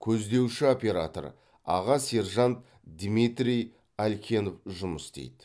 көздеуші оператор аға сержант дмитрий алькенов жұмыс істейді